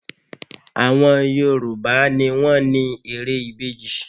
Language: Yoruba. Àwọn Yorùbá á ni wọ́n ni ère ìbejì